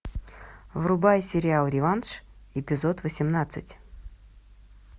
врубай сериал реванш эпизод восемнадцать